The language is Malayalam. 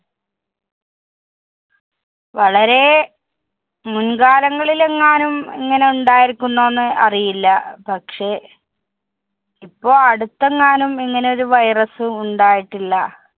വളരെ, മുന്‍ കാലങ്ങളിലെങ്ങാനും ഇങ്ങനെ ഉണ്ടായിരിക്കുന്നോ എന്ന് അറിയില്ല. പക്ഷെ ഇപ്പൊ അടുത്തങ്ങാനും ഇങ്ങനെ ഒരു virus ഉണ്ടായിട്ടില്ല.